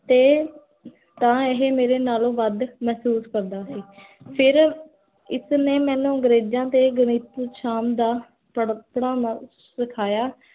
ਤ, ਤਾਂ ਇਹ ਮੇਰੇ ਨਾਲੋਂ ਵਦ ਮੇਹ੍ਸੂਸ ਕਰਦਾ ਸੀ ਫਿਰ ਇਸਨੇ ਮੇਨੂ ਅੰਗਰੇਜਾਂ ਤੇ ਗਣਿਤ ਸ਼ਾਮ ਦਾ ਪੜ੍ਹਾਉਣਾ ਸਖਾਇਆ